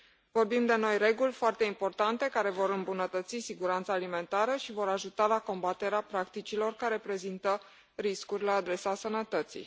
Vorbim de noi reguli foarte importante, care vor îmbunătăți siguranța alimentară și vor ajuta la combaterea practicilor care prezintă riscuri la adresa sănătății.